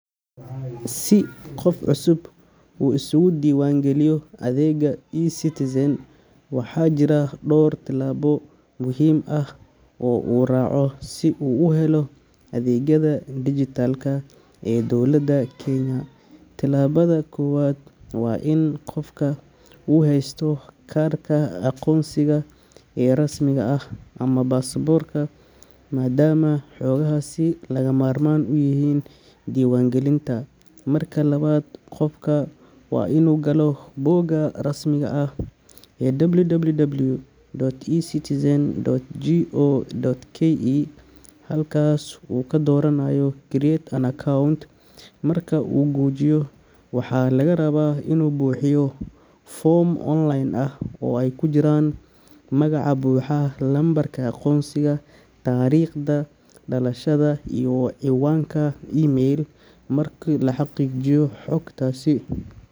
Si qof cusub uu isugu diiwaan geliyo adeegga eCitizen, waxaa jira dhowr tillaabo muhiim ah oo uu raaco si uu u helo adeegyada dijitaalka ee dowladda Kenya. Tillaabada koowaad waa in qofka uu haysto kaarka aqoonsiga ee rasmiga ah ama baasaboorka, maadaama xogahaasi lagama maarmaan u yihiin diiwaangelinta. Marka labaad, qofku waa inuu galo bogga rasmiga ah ee www.ecitizen.go.ke halkaasoo uu ka dooranayo Create an Account Marka uu gujiyo, waxaa laga rabaa inuu buuxiyo foom online ah oo ay ku jiraan magaca buuxa, lambarka aqoonsiga, taariikhda dhalashada, iyo ciwaanka email. Marka la xaqiijiyo xogtasi.